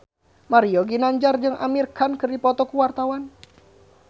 Mario Ginanjar jeung Amir Khan keur dipoto ku wartawan